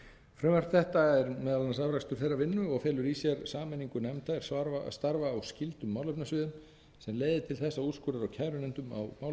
frumvarp þetta er meðal annars afrakstur þeirrar vinnu og felur í sér sameiningu nefnda er starfa á skyldum málefnasviðum sem leiðir til þess að úrskurðar og kærunefndum á málefnasviðum sem falla